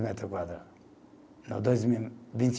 Metro quadrado. Não dois e vinte